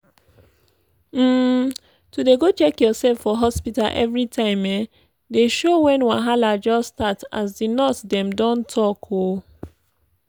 um to dey go check yoursef for hospta everi time um dey show wen wahala just start as di nurse dem don talk. um